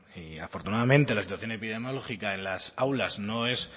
y afortunadamente la situación epidemiológica en las aulas no es